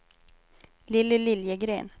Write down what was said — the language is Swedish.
Lilly Liljegren